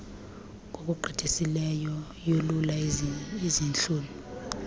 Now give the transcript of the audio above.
ngokugqithisileyo yolula izihlunu